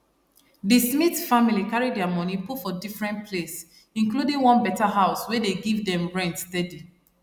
di smith family carry dia money put for different place including one better house wey dey give dem rent steady